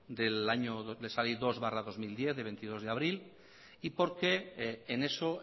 dos barra dos mil diez del veintidós de abril y porque en eso